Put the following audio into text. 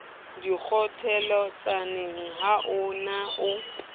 dikgotjheletsaneng ha o ne o